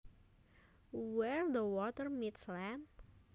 Where the water meets land